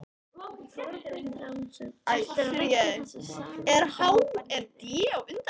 Þorbjörn Þórðarson: Ætlarðu að leggja þessa samningahópa niður?